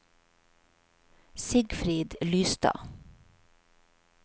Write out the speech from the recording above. Sigfrid Lystad